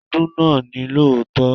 Ọdún náà ni lóòótọ́.